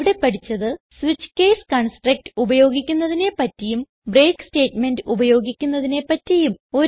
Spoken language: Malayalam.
ഇവിടെ പഠിച്ചത് സ്വിച്ച് കേസ് കൺസ്ട്രക്ട് ഉപയോഗിക്കുന്നതിനെ പറ്റിയും ബ്രേക്ക് സ്റ്റേറ്റ്മെന്റ് ഉപയോഗിക്കുന്നതിനെ പറ്റിയും